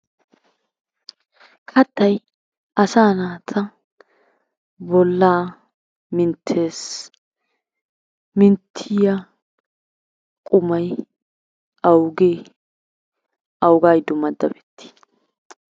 Kattay asaa naata bolla minttees. Minttiya qumay awuge awuga giddon madabettii?